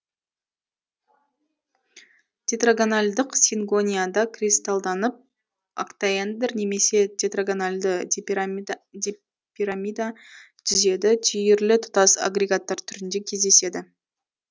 тетрагональдық сингонияда кристалданып октаэндр немесе тетрагональды дипирамида түзеді түйірлі тұтас агрегаттар түрінде кездеседі